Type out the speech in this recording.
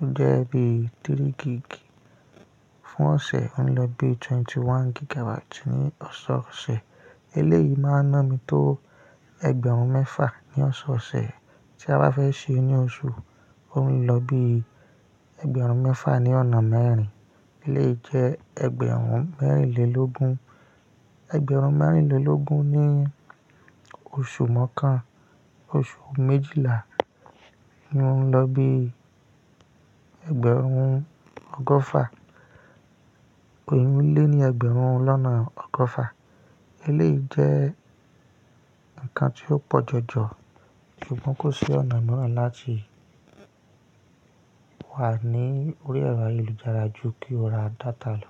ó jẹ́ bí i 3 gig fún ọ̀sẹ̀, ó ń lọ bí i 21 gigabyte ní ọ̀sọ̀ọ̀sẹ̀. Eléyìí máa ń ná mi tó ẹgbẹ̀rún mẹ́fà ní ọ̀sọ̀ọ̀sẹ̀. Tí a bá fẹ́ ṣi i ní oṣù, ó ń lọ bí i ẹgbẹ̀rún mẹ́fà ní ọ̀nà mẹ́rin, ó lè jẹ́ ẹgbẹ̀rún mẹ́rìnlélógún. Ẹgbẹ̀rún mẹ́rìnlélógún ní oṣù mọ́kàn. Oṣù méjìlá ni ó ń lọ bí i ẹgbẹ̀rún ọgọ́fà. Oun ni ẹgbẹ̀rún lọ́nà ọgọ́fà. Eléyìí jẹ́ ǹkan tí ó pọ̀ jọjọ, ṣùgbọ́n kò sí ọ̀nà mìíràn láti wà ní orí ẹ̀rọ ayélujára ju kí o ra data lọ.